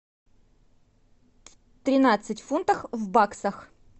тринадцать фунтов в баксах